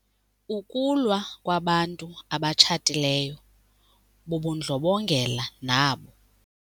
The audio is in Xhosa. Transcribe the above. Ukulwa kwabantu abatshatileyo bubundlobongela nabo.